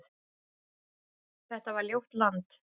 Þetta var ljótt land.